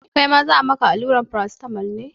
Kai ma za a yi maka allura Paracetamol tamol ne?